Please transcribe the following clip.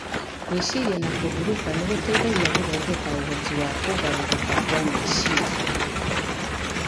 Gwĩciria na kũhurũka nĩ gũteithagia gũthondeka ũhoti wa kũgarũrũka kwa meciria